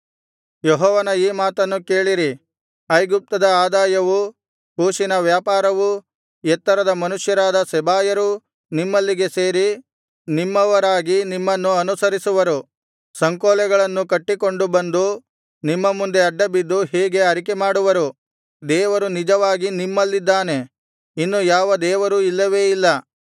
ಯೆಹೋವನ ಈ ಮಾತನ್ನು ಕೇಳಿರಿ ಐಗುಪ್ತದ ಆದಾಯವೂ ಕೂಷಿನ ವ್ಯಾಪಾರವೂ ಎತ್ತರದ ಮನುಷ್ಯರಾದ ಸೆಬಾಯರೂ ನಿಮ್ಮಲ್ಲಿಗೆ ಸೇರಿ ನಿಮ್ಮವರಾಗಿ ನಿಮ್ಮನ್ನು ಅನುಸರಿಸುವರು ಸಂಕೋಲೆಗಳನ್ನು ಕಟ್ಟಿಕೊಂಡು ಬಂದು ನಿಮ್ಮ ಮುಂದೆ ಅಡ್ಡಬಿದ್ದು ಹೀಗೆ ಅರಿಕೆಮಾಡುವರು ದೇವರು ನಿಜವಾಗಿ ನಿಮ್ಮಲ್ಲಿದ್ದಾನೆ ಇನ್ನು ಯಾವ ದೇವರೂ ಇಲ್ಲವೇ ಇಲ್ಲ